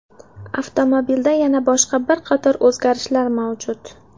Avtomobilda yana boshqa bir qator o‘zgarishlar mavjud.